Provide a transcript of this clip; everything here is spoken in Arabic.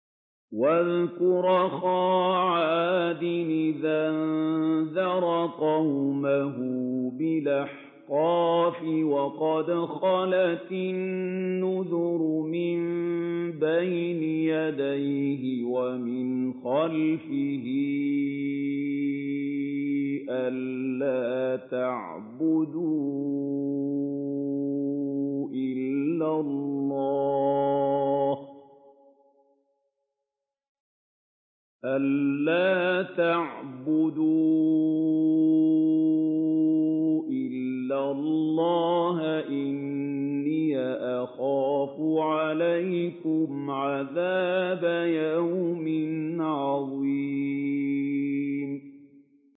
۞ وَاذْكُرْ أَخَا عَادٍ إِذْ أَنذَرَ قَوْمَهُ بِالْأَحْقَافِ وَقَدْ خَلَتِ النُّذُرُ مِن بَيْنِ يَدَيْهِ وَمِنْ خَلْفِهِ أَلَّا تَعْبُدُوا إِلَّا اللَّهَ إِنِّي أَخَافُ عَلَيْكُمْ عَذَابَ يَوْمٍ عَظِيمٍ